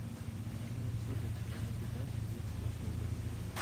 седьмая серия сезона пятнадцать детство шелдона